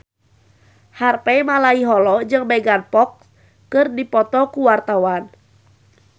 Harvey Malaiholo jeung Megan Fox keur dipoto ku wartawan